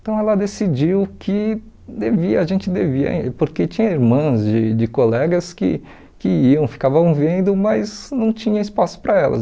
Então ela decidiu que devia, a gente devia, porque tinha irmãs de de colegas que que iam, ficavam vendo, mas não tinha espaço para elas.